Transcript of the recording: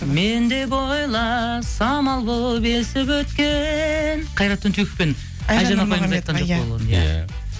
мен деп ойла самал болып есіп өткен қайрат түнсеков пен айжан иә